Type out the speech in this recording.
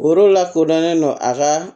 Yɔrɔ lakodɔnnen don a ka